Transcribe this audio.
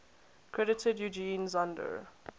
credited eugen zander